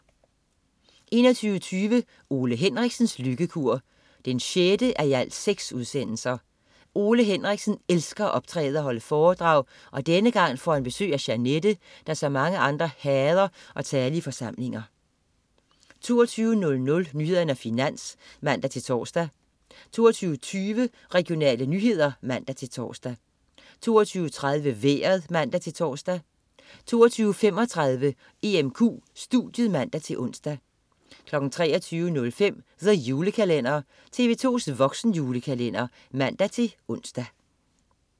21.25 Ole Henriksens lykkekur 6:6. Ole Henriksen elsker at optræde og holde foredrag, og denne gang får han besøg af Jeanette, der som mange andre hader at tale i forsamlinger 22.00 Nyhederne og Finans (man-tors) 22.20 Regionale nyheder (man-tors) 22.30 Vejret (man-tors) 22.35 EMQ studiet (man-ons) 23.05 The Julekalender. TV2's voksenjulekalender (man-ons)